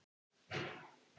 Nú er hún átján ára.